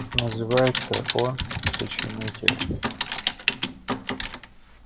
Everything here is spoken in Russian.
называется он сочинитель